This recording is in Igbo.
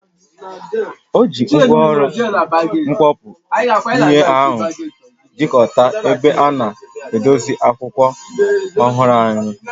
O ji ngwaọrụ mkọkpụ ihe ahụ chịkọta ebe a na edosa akwụkwọ ọhụrụ ahụ.